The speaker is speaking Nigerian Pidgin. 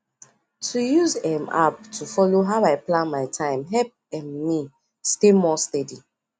to use um app to follow how i plan my time help um me stay more steady